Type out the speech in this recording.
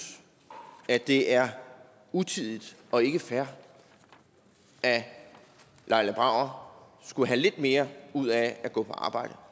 at det er utidigt og ikke fair at laila brauer skulle have lidt mere ud af at gå på arbejde